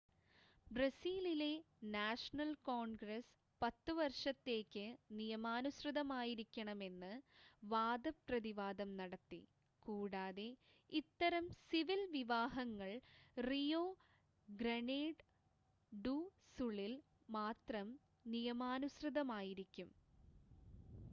ബ്രസീലിലെ national congress 10 വർഷത്തേക്ക് നിയമാനുസൃതമായിരിക്കണമെന്ന് വാദപ്രതിവാദം നടത്തി കൂടാതെ ഇത്തരം സിവിൽ വിവാഹങ്ങൾ റിയോ ഗ്രനേഡ് ഡു സുളിൽ മാത്രം നിയമാനുസൃതമായിരിക്കും